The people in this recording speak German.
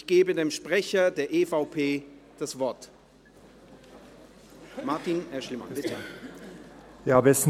Ich gebe dem Sprecher der EVP, Martin Aeschlimann, das Wort.